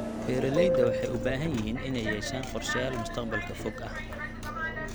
Beeralayda waxay u baahan yihiin inay yeeshaan qorshayaal mustaqbalka fog ah.